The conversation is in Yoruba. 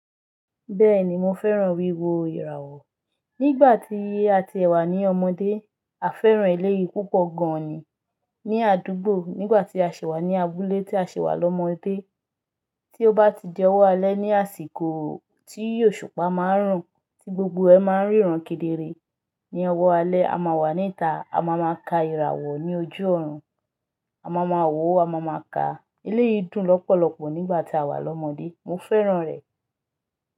Bẹ́ẹ̀ni mo fẹ́ràn wíwo ìràwọ̀. Nígbà tí a ti ẹ́ wà ní ọmọdé, a fẹ́ràn eléyìí púpọ̀ gan ni ní àdúgbò. Nígbà tí a sì wà ní abúlé tí a sì wà lọ́mọdé, tí ó bá ti jẹ́ ọwọ́ alẹ́ ní àsìkò tí òṣùpá máa ń rùn, tí gbogbo ẹ máa ń ríran kedere. Ni ọwọ́ alẹ́ a máa wà níta, a máa ma ka ìràwọ̀ ní ojú ọ̀run, a máa ma wò ó, a máa ma ka. Eléyìí dùn lọ́pọ̀lọpọ̀ nígbà tí a wà lọ́mọdé. Mo fẹ́ràn rẹ̀.